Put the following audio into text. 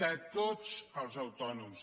de tots els autònoms